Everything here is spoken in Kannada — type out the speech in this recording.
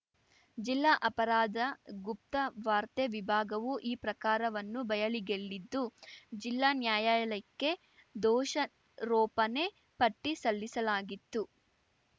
ಜಿಲ್ಲಾ ಅಪರಾಧ ಗುಪ್ತ ವಾರ್ತೆ ವಿಭಾಗವು ಈ ಪ್ರಕಾರವನ್ನು ಬಯಲಿಗೆಳ್ಳಿದ್ದು ಜಿಲ್ಲಾ ನ್ಯಾಯಾಲಯಕ್ಕೆ ದೋಷಾರೋಪಣೆ ಪಟ್ಟಿಸಲ್ಲಿಸಲಾಗಿತ್ತು